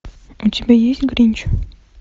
у тебя есть гринч